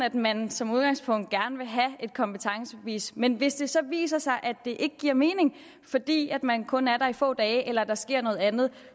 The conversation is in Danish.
at man som udgangspunkt gerne vil have et kompetencebevis men hvis det så viser sig at det ikke giver mening fordi man kun er der i få dage eller der sker noget andet